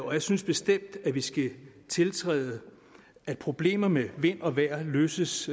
og jeg synes bestemt at vi skal tiltræde at problemer med vind og vejr løses